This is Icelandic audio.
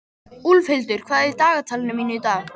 Úlfhildur, hvað er í dagatalinu mínu í dag?